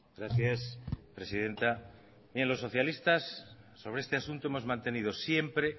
gracias presidenta bien los socialistas sobre este asunto hemos mantenido siempre